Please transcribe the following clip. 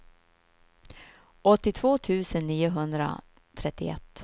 åttiotvå tusen niohundratrettioett